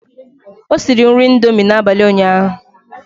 O siri nri indomie n'abalị ụnyaahụ.